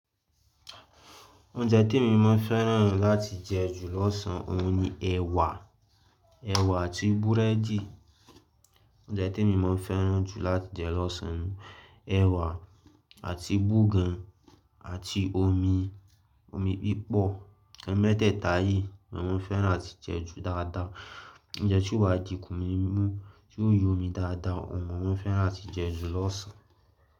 Oúnjẹ te mi máa ń fẹ́ràn láti jẹ jù lọ́sàn òun ni ẹ̀wà, ẹ̀wà àti búrẹ́dì. Oúnjẹ te mi máa ń fẹ́ràn jù láti jẹ lọ́sàn òun, ẹ̀wà àti búgàn àti omi, omi pípọ̀. Ẹ̀ẹ̀ mẹ́teta yìí ni mo máa ń fẹ́ràn láti jẹ jù dáadáa. Oúnjẹ tí o wà dí ikùn mi mú, tí o yóò yọ mi dáadáa, òun mo máa ń fẹ́ràn áti jẹ jù lọ́sàn.